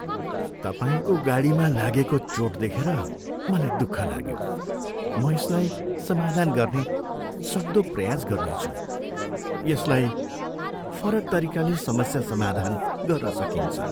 तपाईँको गाडीमा लागेको चोट देखेर मलाई दुःख लाग्यो, म यसलाई समाधान गर्न सक्दो प्रयास गर्नेछु। यसलाई फरक तरिकाले समस्या समाधान गर्न सकिन्छ।